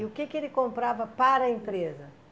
E o que que ele comprava para a empresa?